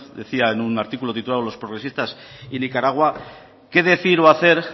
decía en un artículo titulado los progresistas y nicaragua qué decir o hacer